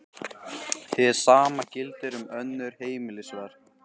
Hið sama gildir um önnur heimilisverk.